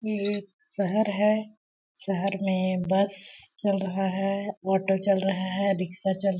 ये एक शहर है शहर में बस चल रहा है ऑटो चल रहा है रिक्शा चल --